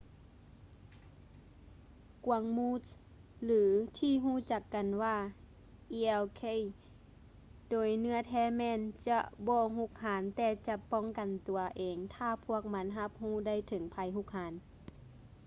ກວາງມູສ ຫຼືທີ່ຮູ້ຈັກກັນວ່າ elk ໂດຍເນື້ອແທ້ແມ່ນຈະບໍ່ຮຸກຮານແຕ່ຈະປ້ອງກັນຕົວເອງຖ້າພວກມັນຮັບຮູ້ໄດ້ເຖິງໄພຮຸກຮານ